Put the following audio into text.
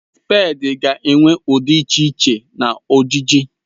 Spèdi ga-enwe ụdị dị iche iche na ojiji